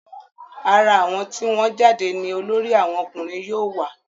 ara àwọn tí wọ́n jáde ní olórí àwọn ọkùnrin yóò wà